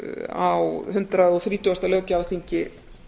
á hundrað og þrítugasta löggjafarþingi